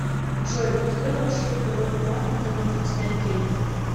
джой построй маршрут до банкомата где можно снять деньги